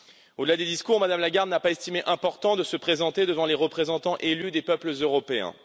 Au delà des discours, Mme Lagarde n'a pas estimé important de se présenter devant les représentants élus des peuples européens.